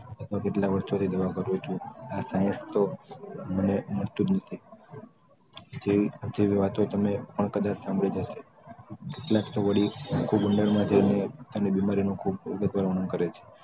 કેટલા વર્ષો થી દવા કરું છું મટતું જ નથી. તેવી વાતો તો તમે પણ સાંભળી જ હશે. કેટલાક તો વળી ખૂબ ઊંડાણ થી તેમની બિમારી નું ખૂબ વર્ણન કરે છે